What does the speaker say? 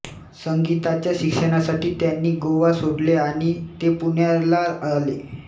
संगीताच्या शिक्षणासाठी त्यांनी गोवा सोडले आणि ते पुण्याला आले